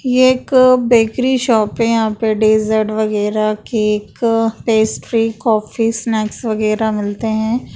ये एक bakery shop है यहाँ पे पर डेजर्ट वगैरह केक पेस्ट्री कॉफी स्नैक्स वगैरह मिलते हैं।